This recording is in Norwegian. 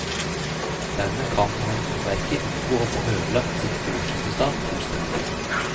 Dermed kan energiverket unngå å få ødelagt sitt årsresultat fullstendig.